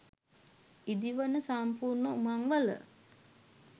ඉදි වන සම්පූර්ණ උමංවල